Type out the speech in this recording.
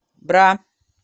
бра